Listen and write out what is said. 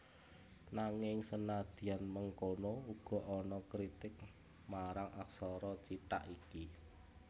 Nanging senadyan mengkono uga ana kritik marang aksara cithak iki